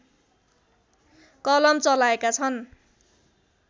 कलम चलाएका छन्